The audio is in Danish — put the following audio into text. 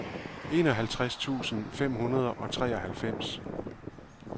enoghalvtreds tusind fem hundrede og treoghalvfems